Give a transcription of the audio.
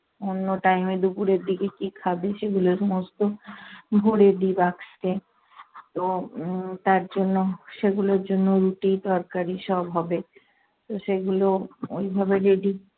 অন্য time এ দুপুরের কী খাবে সেগুলো সমস্ত ভরে দি বাক্সে। তো উম তারজন্য সেগুলোর জন্য রুটি তরকারি সব হবে। তো সেগুলো ওইভাবে ready